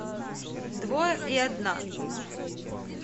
двое и одна